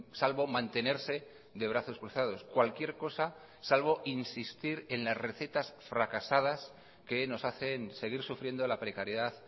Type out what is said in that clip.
salvo mantenerse de brazos cruzados cualquier cosa salvo insistir en las recetas fracasadas que nos hacen seguir sufriendo la precariedad